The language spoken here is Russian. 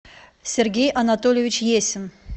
сергей анатольевич есин